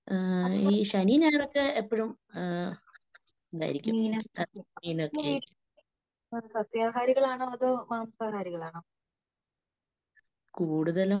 ഈ ശനിയും ഞായറുമൊക്കെ എപ്പഴും ഇതായിരിക്കും, മീനൊക്കെയായിരിക്കും. കൂടുതലും